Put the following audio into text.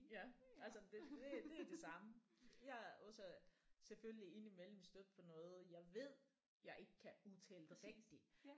Ja altså det det er det samme jeg er også selvfølgelig indimellem stødt på noget jeg ved jeg ikke kan udtale det rigtigt